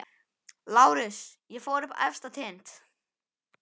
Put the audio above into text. LÁRUS: Ég fór upp á efsta tind.